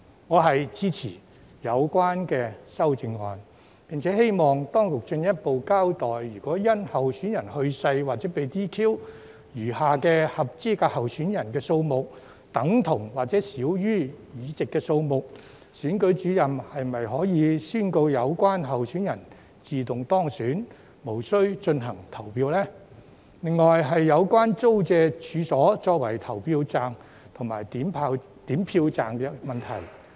我支持有關修正案，並希望當局進一步交代，如果因候選人去世或被 "DQ"， 餘下的合資格候選人數目等同或少於議席數目時，選舉主任是否可以宣告有關候選人自動當選，無須進行投票呢?另外是有關租借處所作為投票站及點票站的問題。